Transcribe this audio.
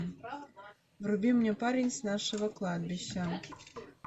вруби мне парень с нашего кладбища